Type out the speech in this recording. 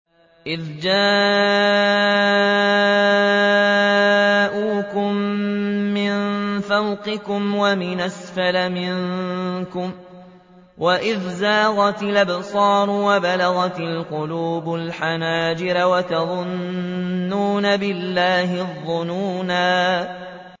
إِذْ جَاءُوكُم مِّن فَوْقِكُمْ وَمِنْ أَسْفَلَ مِنكُمْ وَإِذْ زَاغَتِ الْأَبْصَارُ وَبَلَغَتِ الْقُلُوبُ الْحَنَاجِرَ وَتَظُنُّونَ بِاللَّهِ الظُّنُونَا